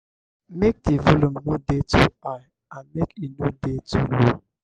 make di volume no dey too high and make e no dey too low